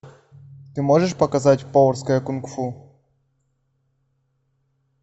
ты можешь показать поварское кунг фу